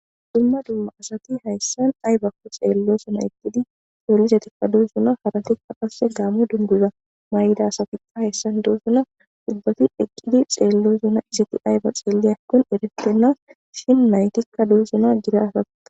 Dumma dumma asati hayssan ay bakko xeello suna eqqidi sollisetikka duu suna harantikka qasse gaamu dunduza may'idasafiqqa hayssan duus suna dubbati eqqidi xeello suna isiti ay ba xeele akkon eretenna shin naytikka duu suna gira faa.